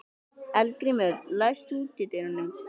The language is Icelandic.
Eldgrímur, læstu útidyrunum.